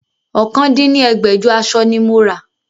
ọ̀kan dín ní ẹgbẹ́jọ aṣọ ni mo rà